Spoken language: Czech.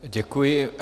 Děkuji.